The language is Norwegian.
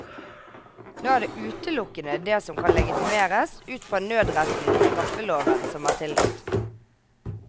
Nå er det utelukkende det som kan legitimeres ut fra nødretten i straffeloven som er tillatt.